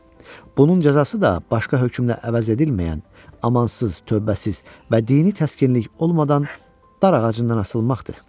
Bunun cəzası da başqa hökmlə əvəz edilməyən, amansız, tövbəsiz və dini təskinlik olmadan dar ağacından asılmaqdır.